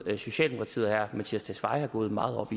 at socialdemokratiet og herre mattias tesfaye går meget op